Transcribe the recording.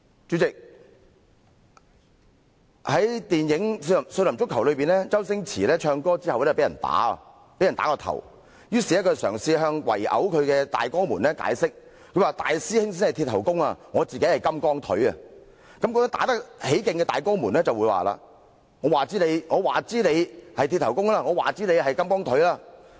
主席，在電影"少林足球"中，周星馳唱歌後被打頭，於是嘗試向圍毆他的大哥們解釋，大師兄才是"鐵頭功"，而他自己則是"金剛腿"。正打得起勁的大哥們卻說："我管你是'鐵頭功'還是'金剛腿'！